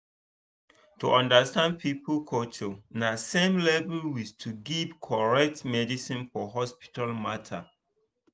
to understand people culture na same level with to give correct medicine for hospital matter.